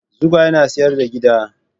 Zugwai na sayar da giɗa